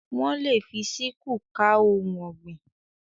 Wọ́n lè fi síkúù ká ohun ọ̀gbìn.